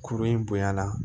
Kuru in bonyala